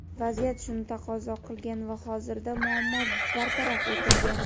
vaziyat shuni taqozo qilgan va hozirda muammo bartaraf etilgan.